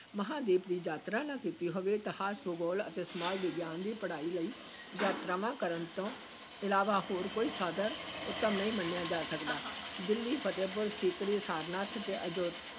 ਮਹਾਂਦੀਪ ਦੀ ਯਾਤਰਾ ਨਾ ਕੀਤੀ ਹੋਵੇ, ਇਤਿਹਾਸ, ਭੂਗੋਲ ਅਤੇ ਸਮਾਜ ਵਿਗਿਆਨ ਦੀ ਪੜ੍ਹਾਈ ਲਈ ਯਾਤਰਾਵਾਂ ਕਰਨ ਤੋਂ ਇਲਾਵਾ ਹੋਰ ਕੋਈ ਸਾਧਨ ਉੱਤਮ ਨਹੀਂ ਮੰਨਿਆ ਜਾ ਸਕਦਾ ਦਿੱਲੀ, ਫਤਹਿਪੁਰ ਸੀਕਰੀ, ਸਾਰਨਾਥ ਤੇ ਅਜ